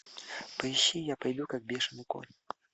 поищи я пою как бешеный кот